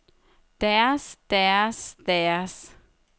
deres deres deres